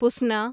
پسنا